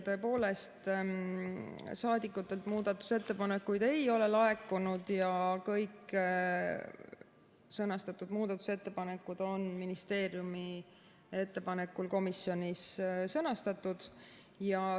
Tõepoolest, saadikutelt muudatusettepanekuid ei ole laekunud ja kõik sõnastatud muudatusettepanekud on ministeeriumi ettepanekul komisjonis sõnastatud.